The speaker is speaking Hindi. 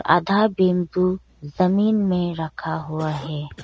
आधा बम्बू जमीन में रखा हुआ है।